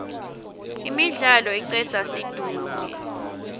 imidlalo icedza situnge